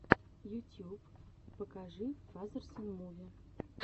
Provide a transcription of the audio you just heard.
ютьюб покажи фазерсон муви